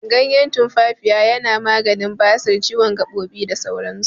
Ganyen tumfafiya yana maganin basir, ciwon gaɓoɓi, da sauran su.